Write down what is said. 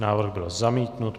Návrh byl zamítnut.